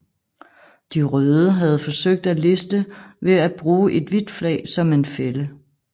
De Røde havde forsøgt en list ved at bruge et hvidt flag som en fælde